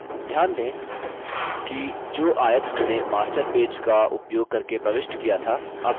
ध्यान दें कि जो आयत हमने master पेज का उपयोग करके प्रविष्ट किया था अब भी दिख रहा है